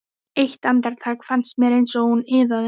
Eitt andartak fannst mér eins og hún iðaði.